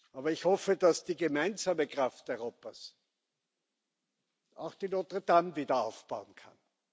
Aber ich hoffe, dass die gemeinsame Kraft Europas auch die Notre Dame wieder aufbauen kann.